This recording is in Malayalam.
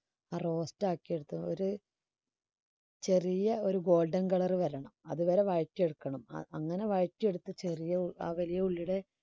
ആ roast ആക്കി എടുത്തത് ഒരു ചെറിയ ഒരു golden colour വരണം അതുവരെ വരട്ടിയെടുക്കണം അ~അങ്ങനെ വരട്ടിയെടുത്ത് ചെറിയ ആ വലിയ ഉള്ളിയുടെ